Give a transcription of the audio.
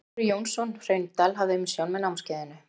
Þórir Jónsson Hraundal hafði umsjón með námskeiðinu.